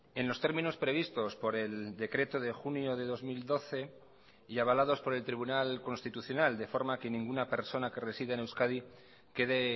en los términos previstos por el decreto de junio de dos mil doce y avalados por el tribunal constitucional de forma que ninguna persona que reside en euskadi quede